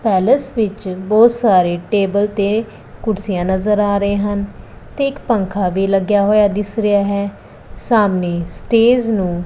palace ਵਿੱਚ ਬਹੁਤ ਸਾਰੇ ਟੇਬਲ ਤੇ ਕੁਰਸੀਆਂ ਨਜ਼ਰ ਆ ਰਹੇ ਹਨ ਤੇ ਇੱਕ ਪੱਖਾ ਵੀ ਲੱਗਿਆ ਹੋਇਆ ਦਿੱਸ ਰਿਹਾ ਹੈ ਸਾਹਮਣੇ ਸਟੇਜ ਨੂੰ--